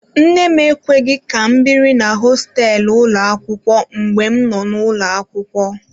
Nne m ekweghị ka m biri na hosteelu ụlọ akwụkwọ mgbe m nọ n'ụlọ akwụkwọ.